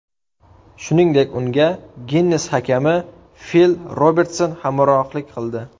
Shuningdek, unga Ginnes hakami Fil Robertson hamrohlik qildi.